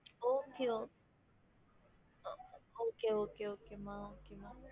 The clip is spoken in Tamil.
Okay ஓ okay okay okay மா okay மா